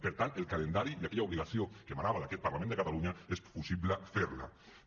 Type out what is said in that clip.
per tant el calendari i aquella obligació que emanava d’aquest parlament de catalunya és possible fer ho